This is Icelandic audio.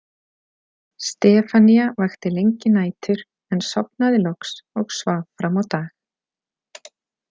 Stefanía vakti lengi nætur en sofnaði loks og svaf fram á dag.